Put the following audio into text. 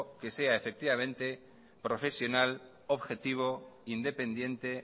que sea profesional objetivo independiente